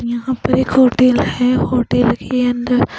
यहाँ पर एक होटल है होटल के अंदर --